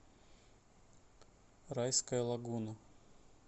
райская лагуна